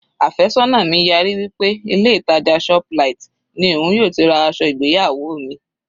Àfẹ́sọ́nà mi yarí wí pé ilé ìtàjà shoplight ni òun yóò ti ra aṣọ ìgbéyàwó mi.